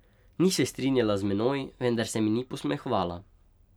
Ni se strinjala z menoj, vendar se mi ni posmehovala.